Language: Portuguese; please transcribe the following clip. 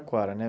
né.